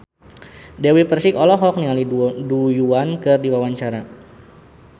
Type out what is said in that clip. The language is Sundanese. Dewi Persik olohok ningali Du Juan keur diwawancara